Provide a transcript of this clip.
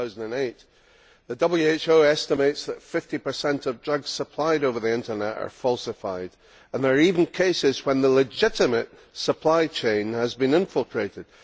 2008. The WHO estimates that 50 of drugs supplied over the Internet are falsified and there are even cases when the legitimate supply chain has been infiltrated.